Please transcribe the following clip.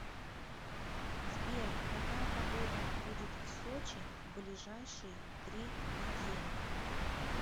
сбер какая погода будет в сочи в ближайшие три недели